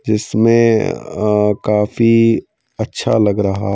जिसमें अअ काफी अच्छा लग रहा--